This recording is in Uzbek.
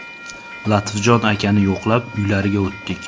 Latifjon akani yo‘qlab, uylariga o‘tdik.